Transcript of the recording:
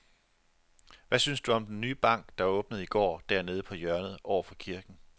Hvad synes du om den nye bank, der åbnede i går dernede på hjørnet over for kirken?